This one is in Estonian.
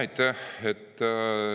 Aitäh!